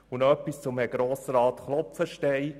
Und noch etwas an Herrn Grossrat Klopfenstein